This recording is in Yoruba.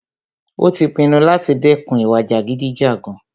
Ó tí pinnu láti dẹ́kun ìwà jàgídíjàgan.